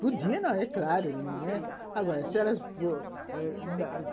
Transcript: Podia, é claro. Agora